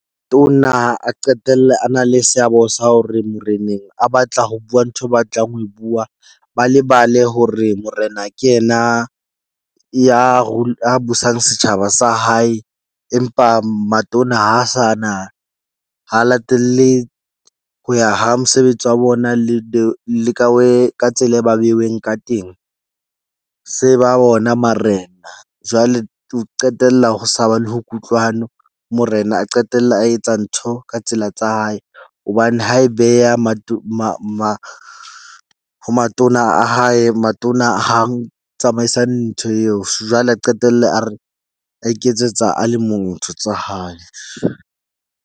A qetelle a na le seabo sa hore moreneng a batla ho bua ntho eo o batlang ho bua. Ba lebale hore morena ke yena ya ya busang setjhaba sa hae. Empa matona ha a sa na, ha latelle ho ya ha mosebetsi wa bona le le ka way ka tsela e ba behuweng ka teng. Se ba bona marena jwale ho qetella ho sa ba le kutlwano. Morena a qetelle a etsa ntho ka tsela tsa hae, hobane ha e beha ho matona a hae, matona hang tsamaisa ntho eo, jwale a qetelle a re a iketsetsa a le motho tsa hae.